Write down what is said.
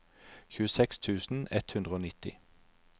tjueseks tusen ett hundre og nitti